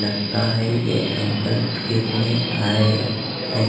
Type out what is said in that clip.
लगता है ये अंकल फिरने आए हैं।